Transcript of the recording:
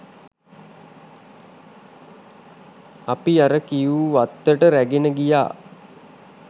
අපි අර කියූ වත්තට රැගෙන ගියා